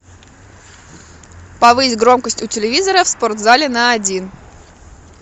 повысь громкость у телевизора в спортзале на один